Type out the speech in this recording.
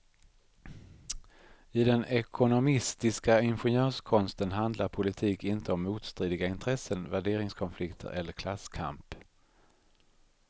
I den ekonomistiska ingenjörskonsten handlar politik inte om motstridiga intressen, värderingskonflikter eller klasskamp.